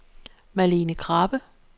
Malene Krabbe